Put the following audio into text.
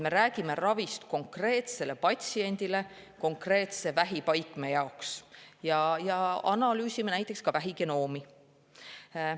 Me räägime konkreetse patsiendi konkreetse vähipaikme ravist ja analüüsime näiteks vähigenoomi.